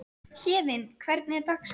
Héðinn, hvernig er dagskráin?